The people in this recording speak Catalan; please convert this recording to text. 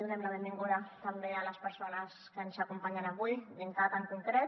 donem la benvinguda també a les persones que ens acompanyen avui dincat en concret